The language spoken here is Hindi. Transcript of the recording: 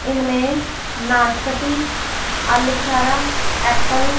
इनमें नाशपती आलू बुखारा एप्पल --